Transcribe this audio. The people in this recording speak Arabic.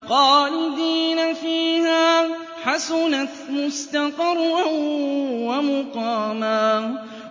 خَالِدِينَ فِيهَا ۚ حَسُنَتْ مُسْتَقَرًّا وَمُقَامًا